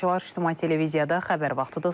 İctimai televiziyada xəbər vaxtıdır.